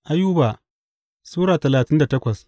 Ayuba Sura talatin da takwas